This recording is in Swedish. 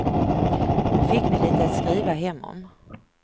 Nu fick ni lite att skriva hem om.